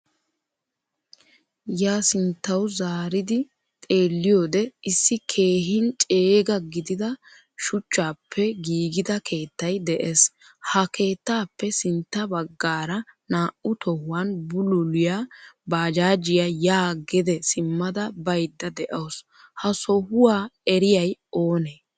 Ya sinttawu zaaridi xeeliyode issi keehin ceega gidida shuchchappe giigida keettay de'ees. Ha keettappe sintta baggara naa'u tohuwan bululiyaa baajjajiyaa yaa gede simmada bayda deawusu. Ha sohuwaa eriyay oone?